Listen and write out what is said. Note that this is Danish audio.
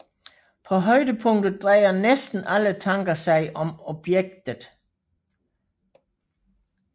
På højdepunktet drejer næsten alle tanker sig om objektet